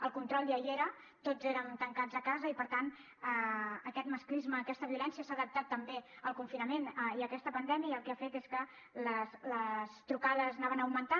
el control ja hi era tots érem tancats a casa i per tant aquest masclisme aquesta violència s’ha adaptat també al confinament i a aquesta pandèmia i el que ha fet és que les trucades anaven augmentant